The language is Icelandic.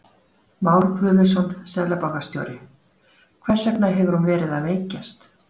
Már Guðmundsson, seðlabankastjóri: Hvers vegna hefur hún verið að veikjast?